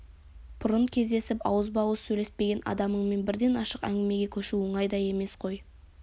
бұрын кездесіп ауызба-ауыз сөйлеспеген адамыңмен бірден ашық әңгімеге көшу оңай да емес қой